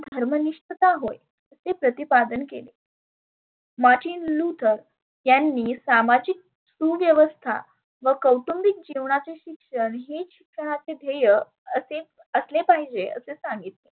धर्म निष्ठता होय असे प्रतिपादन केले. martin luther यांनी सामाजीक सुव्यवस्था व कौटुंबीक जिवणाचे शिक्षण हे शिक्षण हे जिवनाचे ध्येय असे असले पाहीजे असे सांगितले.